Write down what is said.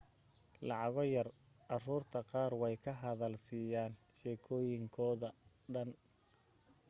lacago yar caruurta qaar way ka hadal siyaan shekoyin koda dhan